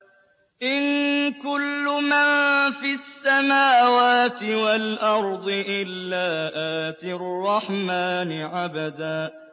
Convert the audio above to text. إِن كُلُّ مَن فِي السَّمَاوَاتِ وَالْأَرْضِ إِلَّا آتِي الرَّحْمَٰنِ عَبْدًا